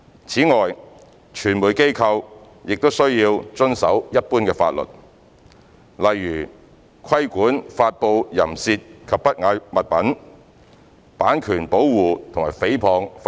此外，傳媒機構均須遵守一般法律，例如規管發布淫褻及不雅物品、版權保護和誹謗等法例。